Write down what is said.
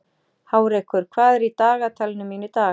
Hárekur, hvað er í dagatalinu mínu í dag?